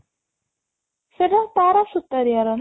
ସେଇଟା ତାରା ସୁତାରୀଆ ର ନା